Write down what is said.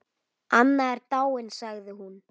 Anna er dáin sagði hún.